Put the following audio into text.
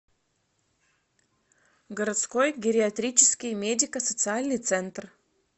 городской гериатрический медико социальный центр